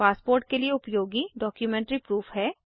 passport के लिए उपयोगी डॉक्युमेंट्री प्रूफ है